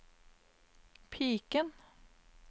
piken